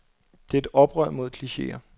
Det er et oprør mod klicheer.